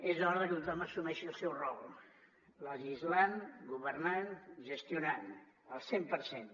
és hora que tothom assumeixi el seu rol legislant governant gestionant al cent per cent